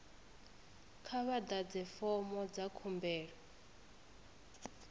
kha vha ḓadze fomo dza khumbelo